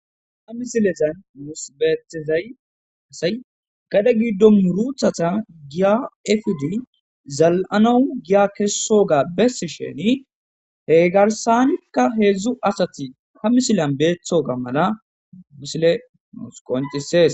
Ha misilezan mimusbeetezay asay gadhe giddo muruthata giya efudi zal7anou giya kessoga bessi sheni he garsanikka heedzdzu asati ha misilan beethoga mala misile nuus qoncisees.